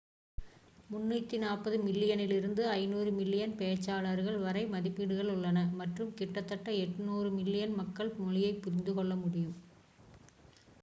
340 மில்லியனிலிருந்து 500 மில்லியன் பேச்சாளர்கள் வரை மதிப்பீடுகள் உள்ளன மற்றும் கிட்டத்தட்ட 800 மில்லியன் மக்கள் மொழியைப் புரிந்து கொள்ள முடியும்